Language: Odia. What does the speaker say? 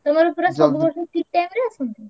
ଦୋଳ କଣ ସବୁ ଠିକ୍ time ରେ ଆସନ୍ତି?